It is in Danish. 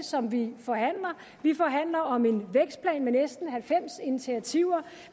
som vi forhandler vi forhandler om en vækstplan med næsten halvfems initiativer